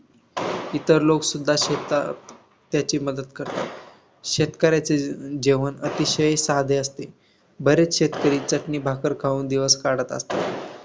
इतर लोकसुद्धा शेतात त्याची मदत करतात. शेतकऱ्याची जे जेवण अतिशय साधे असते. बरेचसे शेतकरी चटणी भाकर खाऊन दिवस काढतात.